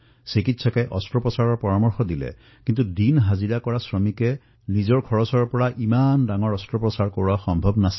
চিকিৎসকে জীৱাৰ বাবে অস্ত্ৰোপচাৰৰ পৰামৰ্শ দিছিল কিন্তু দৈনিক হাজিৰা কৰা জীৱাৰ বাবে অস্ত্ৰোপচাৰৰ ব্যয় বহন কৰাটো সম্ভৱ নাছিল